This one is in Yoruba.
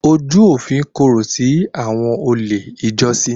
Ojú òfin korò sí àwọn olè ijọ́sí.